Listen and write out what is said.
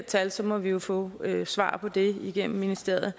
tal så må vi jo få svar på det igennem ministeriet